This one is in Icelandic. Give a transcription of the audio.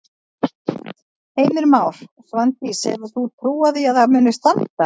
Heimir Már: Svandís hefur þú trú á því að það muni standa?